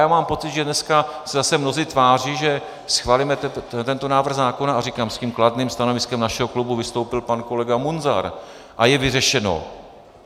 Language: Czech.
Já mám pocit, že dneska se zase mnozí tváří, že schválíme tento návrh zákona - a říkám, s tím kladným stanoviskem našeho klubu vystoupil pan kolega Munzar - a je vyřešeno.